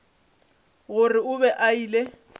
gore o be a ile